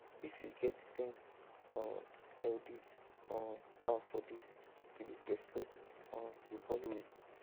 if you get ten um healthy um cow for this village respect um go follow you